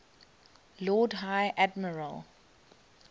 lord high admiral